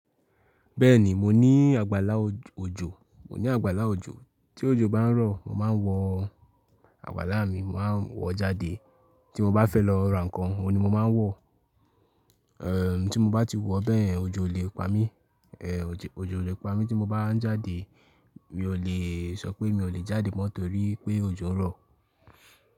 Bẹ́ẹ̀ni, mo ní àgbàlá òjò, mo ní àgbàlá òjò. Tí òjò bá ń rọ̀, màá ń wọ àgbàlá mi. Màá ń wọ jáde. Tí mo bá fẹ́ lọ ra nǹkan, òun ni mo máa ń wọ. Tí mo bá ti wọ bẹ́yen, òjò ò lè pa mí, òjò ò lè pa mí tí mo bá ń jáde. Mi ò lè sọ pé mi ò lè jáde mọ́ torí pé òjò ń rọ̀.